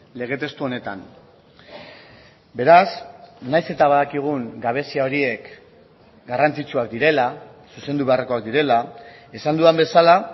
lege testu honetan beraz nahiz eta badakigun gabezia horiek garrantzitsuak direla zuzendu beharrekoak direla esan dudan bezala